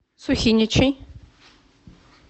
сухиничей